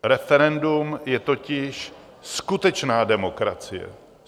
Referendum je totiž skutečná demokracie.